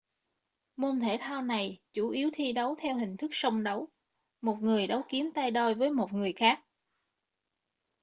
môn thể thao này chủ yếu thi đấu theo hình thức song đấu một người đấu kiếm tay đôi với một người khác